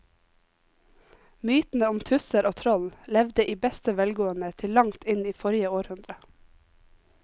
Mytene om tusser og troll levde i beste velgående til langt inn i forrige århundre.